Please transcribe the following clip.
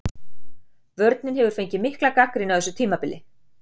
Vörnin hefur fengið mikla gagnrýni á þessu tímabili.